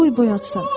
qoy boyatsın.